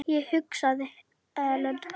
Ég hugsaði: Ellen?